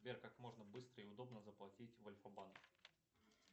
сбер как можно быстро и удобно заплатить в альфа банк